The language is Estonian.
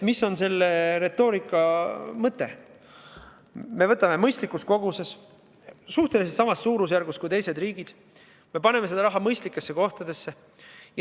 Me võtame mõistlikus koguses, suhteliselt samas suurusjärgus kui teised riigid, ja paneme selle raha mõistlikesse kohtadesse.